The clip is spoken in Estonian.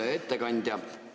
Hea ettekandja!